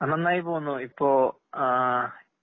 അന്നന്നായിപോകുന്നു. ഇപ്പോ ആഹ്